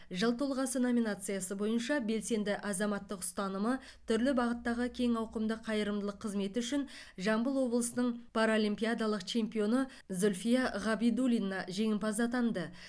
жыл тұлғасы номинациясы бойынша белсенді азаматтық ұстанымы түрлі бағыттағы кең ауқымды қайырымдылық қызметі үшін жамбыл облысының паралимпиадалық чемпионы зүльфия ғабидуллина жеңімпаз атанды